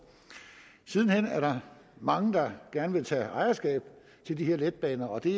siden hen er der mange der gerne tage ejerskab til de her letbaner og det